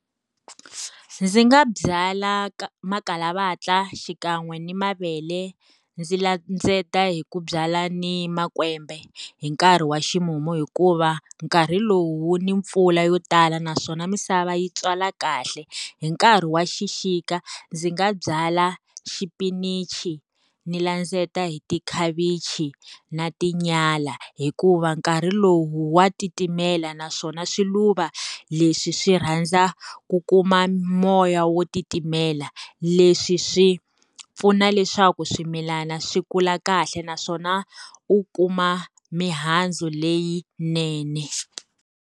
Ndzi nga byala makhalavatla xikan'we ni mavele, ndzi landzeta hi ku byala ni makwembe hi nkarhi wa ximumu. Hikuva nkarhi lowu ni mpfula yo tala naswona misava yi tswala kahle. Hi nkarhi wa xixika, ndzi nga byala xipinichi ni landzeta hi tikhavichi na tinyala, hikuva nkarhi lowu wa titimela naswona swiluva leswi swi rhandza ku kuma moya wo titimela. Leswi swi pfuna leswaku swimilana swi kula kahle naswona u kuma mihandzu leyinene.